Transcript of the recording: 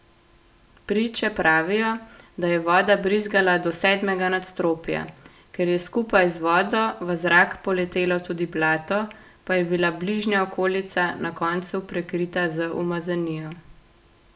Priče pravijo, da je voda brizgala do sedmega nadstropja, ker je skupaj z vodo v zrak poletelo tudi blato, pa je bila bližnja okolica na koncu prekrita z umazanijo.